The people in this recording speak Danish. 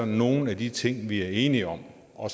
nogle af de ting vi er enige om og